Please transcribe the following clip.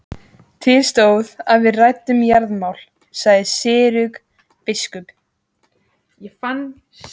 Til stóð að við ræddum jarðamál, sagði Gizur biskup.